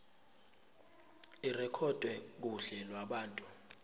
irekhodwe kuhla lwabantu